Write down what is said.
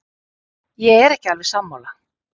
Ég er ekki alveg sammála.